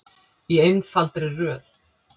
Í einfaldri röð.